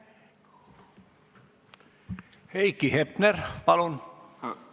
Heiki Hepner, palun!